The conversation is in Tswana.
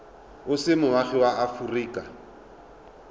o se moagi wa aforika